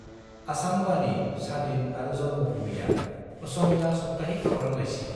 असम बानी, सादिन आरो जन्मभूमिया असमिया साप्ताहिक खौरां लाइसि।